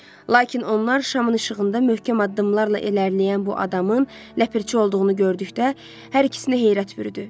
Lakin onlar şamın işığında möhkəm addımlarla irəliləyən bu adamın ləpirçi olduğunu gördükdə hər ikisinə heyrət bürüdü.